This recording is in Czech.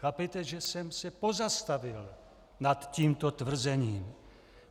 Chápejte, že jsem se pozastavil nad tímto tvrzením.